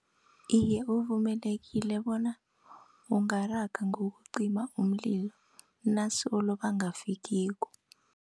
Iye, uvumelekile bona ungaraga ngokucima umlilo nasolo bangafikiko.